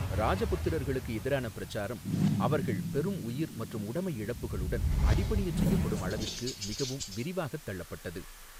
ராஜபுத்திரர்களுக்கு எதிரான பிரச்சாரம், அவர்கள் பெரும் உயிர் மற்றும் உடைமை இழப்புகளுடன் அடிபணியச் செய்யப்படும் அளவிற்கு மிகவும் விரிவாகத் தள்ளப்பட்டது.